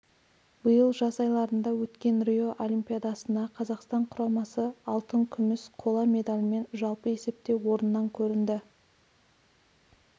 биыл жаз айларында өткен рио олимпиадасына қазақстан құрамасы алтын күміс қола медальмен жалпы есепте орыннан көрінді